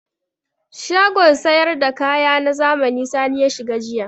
Shagon sayar da kaya na zamani Sani ya shiga jiya.